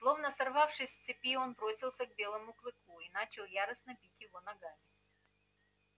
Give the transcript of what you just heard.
словно сорвавшись с цепи он бросился к белому клыку и начал яростно бить его ногами